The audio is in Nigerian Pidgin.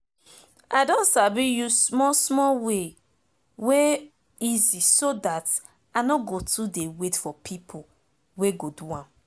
i don sabi use small small way wey easy so dat i nor go too de wait for pipo wey go do am